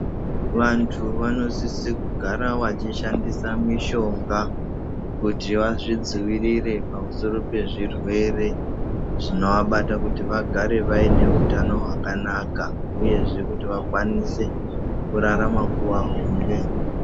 Vantu vanosisa kugara vachishandisa mishomga kuti vatidzivirirre pamusoro pezvirwere zvinovabata vagare vaine hutano hwakanaka uyezve kuti vakwanise kurarama nguwa hombe.